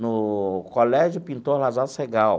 No colégio Pintor Lazar Segall.